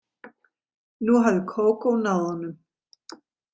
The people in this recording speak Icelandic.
Nú hafði Kókó náð honum.